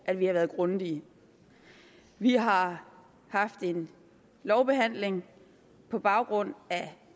at vi har været grundige vi har haft en lovbehandling på baggrund af